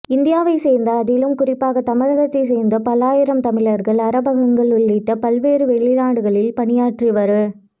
இந்தியாவைச்சேர்ந்த அதிலும் குறிப்பாக தமிழகத்தை சேர்ந்த பல்லாயிரம் தமிழர்கள் அரபகங்கள் உள்ளிட்ட பல்வேறு வெளிநாடுகளில் பணியாற்றி வரு